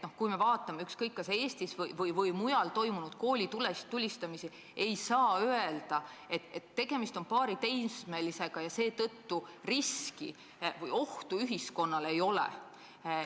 Kui me vaatame kas Eestis või mujal toimunud koolitulistamisi, siis ei saa öelda, et tegemist on paari teismelisega ja seetõttu ohtu ühiskonnale ei ole.